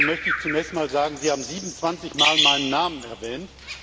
Dazu möchte ich zunächst einmal sagen Sie haben 27 mal meinen Namen erwähnt.